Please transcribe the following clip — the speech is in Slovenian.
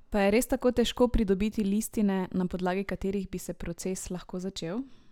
Pa je res tako težko pridobiti listine, na podlagi katerih bi se proces lahko začel?